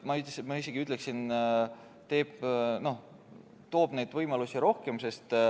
Ma isegi ütleksin, et ta loob rohkem neid võimalusi.